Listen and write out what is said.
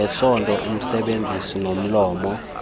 ngesondo usebenzisa nomlomo